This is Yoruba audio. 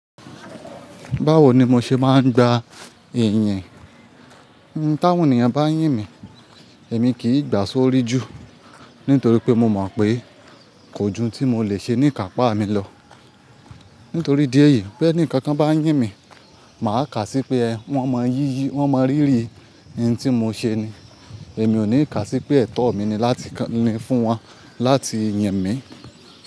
Báwo ni mo ṣe máa ń gba ìyìn? Ní táwòn ènìyàn bá yín mi, èmi kì í gbà sórí jù nítorí pé mo mọ̀ pé kò jù tí mo lè ṣe ní kàpá mi lọ. Nítorí idí ẹ̀yìí pé ẹni kankan bá yín mi, màá kà sí pé wọ́n mọ yíyí, wọ́n mọ rírì ohun tí mo ṣe ni. Èmi ò ní kà sí pé ẹ̀tọ́ mi ni láti kà ni fún wọn láti yìn mi.